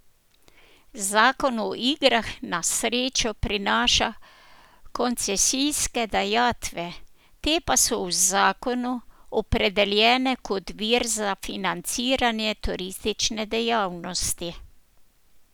Zakon o igrah na srečo prinaša koncesijske dajatve, te pa so v zakonu opredeljene kot vir za financiranje turistične dejavnosti.